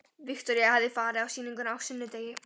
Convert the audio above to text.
Viktoría hafði farið á sýninguna á sunnudegi.